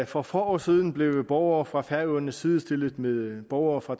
for få år siden blev borgere fra færøerne sidestillet med borgere fra